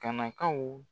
Kana kaw